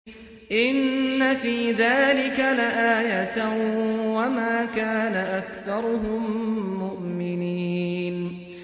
إِنَّ فِي ذَٰلِكَ لَآيَةً ۖ وَمَا كَانَ أَكْثَرُهُم مُّؤْمِنِينَ